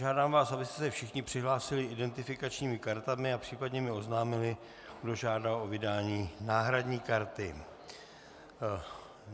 Žádám vás, abyste se všichni přihlásili identifikačními kartami a případně mi oznámili, kdo žádá o vydání náhradní karty.